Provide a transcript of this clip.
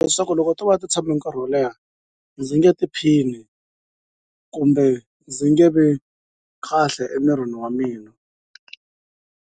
Leswaku loko to va ti tshame nkarhi wo leha ndzi nge tiphini kumbe ndzi nge vi kahle emirini wa mina.